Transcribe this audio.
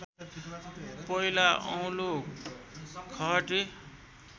पहिला औलो खहटे